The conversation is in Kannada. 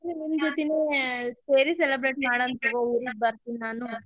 ನಿಮ್ಮ್ ಜೋತಿನೇ ಸೇರಿ celebrate ಮಾಡೋಣ ತಗೋ ಊರಿಗ್ ಬರ್ತಿನ್ ನಾನು.